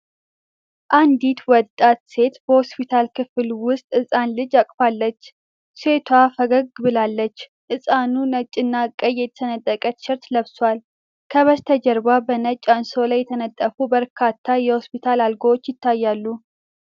አንዲት ወጣት ሴት በሆስፒታል ክፍል ውስጥ ሕፃን ልጅ አቅፋለች። ሴቷ ፈገግ ብላለች፤ ሕፃኑ ነጭና ቀይ የተሰነጠቀ ቲሸርት ለብሷል። ከበስተጀርባ በነጭ አንሶላ የተነጠፉ በርካታ የሆስፒታል አልጋዎች ይታያሉ።